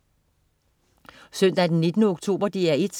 Søndag den 19. oktober - DR 1: